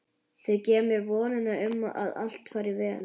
Þau gefa mér vonina um að allt fari vel.